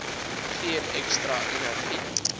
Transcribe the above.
gee ekstra energie